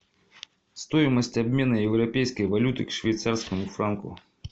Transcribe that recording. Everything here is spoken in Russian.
стоимость обмена европейской валюты к швейцарскому франку